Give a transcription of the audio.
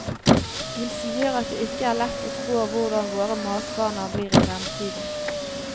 Hun sier at det ikke er lett å spå hvordan våre matvaner blir i fremtiden.